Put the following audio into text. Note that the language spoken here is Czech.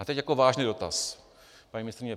A teď jako vážný dotaz, paní ministryně.